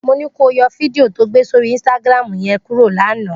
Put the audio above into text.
Mo ní kó o yọ fídíò to gbé sórí Instagram yẹn kúrò lánàá!